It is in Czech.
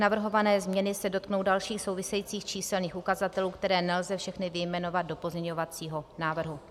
Navrhované změny se dotknou dalších souvisejících číselných ukazatelů, které nelze všechny vyjmenovat do pozměňovacího návrhu.